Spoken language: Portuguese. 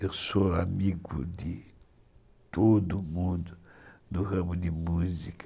Eu sou amigo de todo mundo do ramo de música.